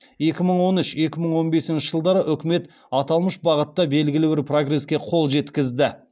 екі мың он үш екі мың он бесінші жылдары үкімет аталмыш бағытта белгілі бір прогреске қол жеткізді